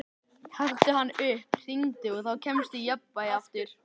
Taktu hann upp, hringdu, og þá kemstu í jafnvægi aftur.